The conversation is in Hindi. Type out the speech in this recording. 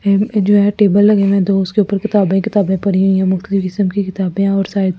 जो है टेबल लगे हुए है दो उसके ऊपर किताबे ही किताबे पड़ी हुई है मुफ़्त की किस्म की किताबे है और सायद --